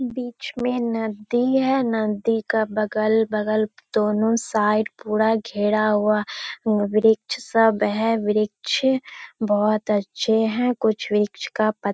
बीच में नदी है । नदी का बगल-बगल दोनों साइड पूरा घेरा हुआ और वृक्ष सब है । वृक्ष बोहोत अच्छे हैं। कुछ वृक्ष का पत --